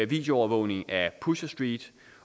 videoovervågning af pusher street